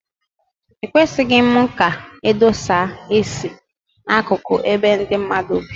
Ekwesịghị ka edosa esi na-akụkụ ebe ndị mmadụ bi.